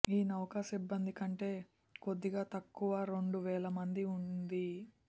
ఈ నౌక సిబ్బంది కంటే కొద్దిగా తక్కువ రెండు వేల మంది ఉంది